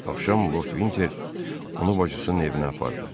Axşam Lord Vinter onu bacısının evinə apardı.